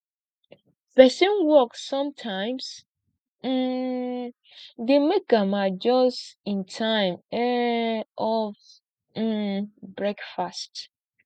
pesin work sometimes um dey make am adjust im time um of um breakfast